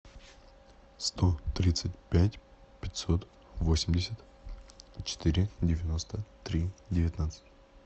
сто тридцать пять пятьсот восемьдесят четыре девяносто три девятнадцать